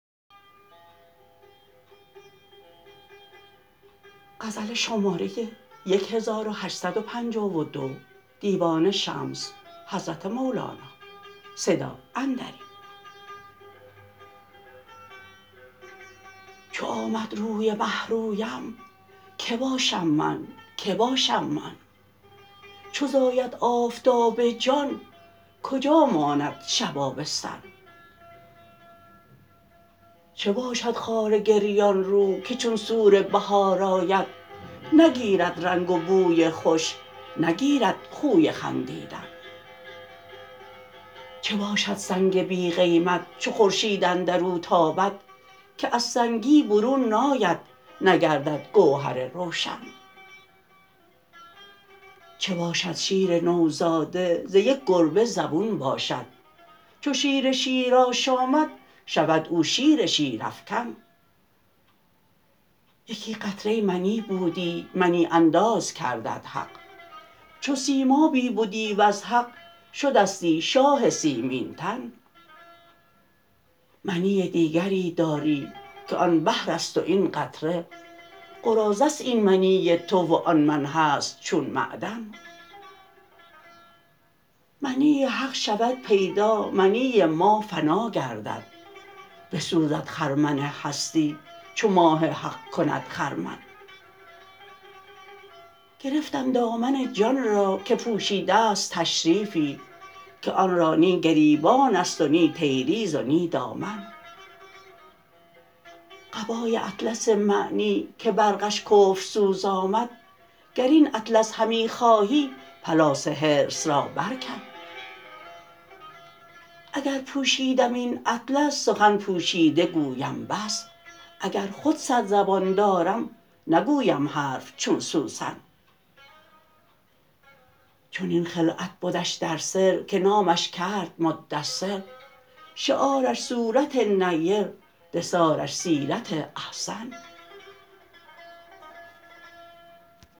چو آمد روی مه رویم کی باشم من که باشم من چو زاید آفتاب جان کجا ماند شب آبستن چه باشد خار گریان رو که چون سور بهار آید نگیرد رنگ و بوی خوش نگیرد خوی خندیدن چه باشد سنگ بی قیمت چو خورشید اندر او تابد که از سنگی برون ناید نگردد گوهر روشن چه باشد شیر نوزاده ز یک گربه زبون باشد چو شیر شیر آشامد شود او شیر شیرافکن یکی قطره منی بودی منی انداز کردت حق چو سیمابی بدی وز حق شدستی شاه سیمین تن منی دیگری داری که آن بحر است و این قطره قراضه است این منی تو و آن من هست چون معدن منی حق شود پیدا منی ما فنا گردد بسوزد خرمن هستی چو ماه حق کند خرمن گرفتم دامن جان را که پوشیده ست تشریفی که آن را نی گریبان است و نی تیریز و نی دامن قبای اطلس معنی که برقش کفرسوز آمد گر این اطلس همی خواهی پلاس حرص را برکن اگر پوشیدم این اطلس سخن پوشیده گویم بس اگر خود صد زبان دارم نگویم حرف چون سوسن چنین خلعت بدش در سر که نامش کرد مدثر شعارش صورت نیر دثارش سیرت احسن